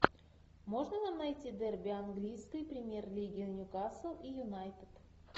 можно нам найти дерби английской премьер лиги ньюкасл и юнайтед